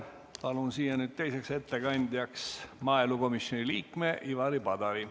Palun siia ettekandjaks maaelukomisjoni liikme Ivari Padari.